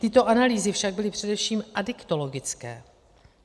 Tyto analýzy však byly především adiktologické.